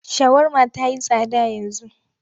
Shawarma ta yi tsada yanzu.